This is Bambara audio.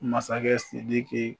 Masakɛ Sidiki